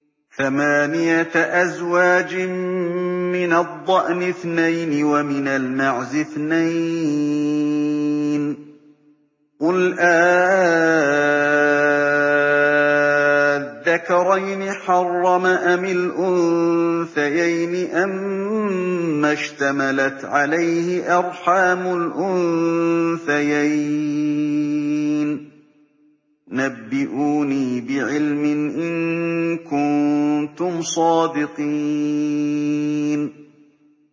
ثَمَانِيَةَ أَزْوَاجٍ ۖ مِّنَ الضَّأْنِ اثْنَيْنِ وَمِنَ الْمَعْزِ اثْنَيْنِ ۗ قُلْ آلذَّكَرَيْنِ حَرَّمَ أَمِ الْأُنثَيَيْنِ أَمَّا اشْتَمَلَتْ عَلَيْهِ أَرْحَامُ الْأُنثَيَيْنِ ۖ نَبِّئُونِي بِعِلْمٍ إِن كُنتُمْ صَادِقِينَ